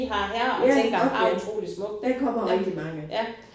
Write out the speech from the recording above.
Ja ork ja. Der kommer rigtig mange